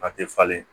A tɛ falen